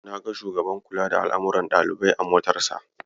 Na ga shugaban kula da al'amuran ɗalibai a motarsa.